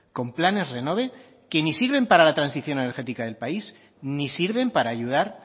con planes renove que ni sirven para la transición energética del país ni sirven para ayudar